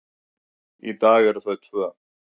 Í dag eru þau tvö.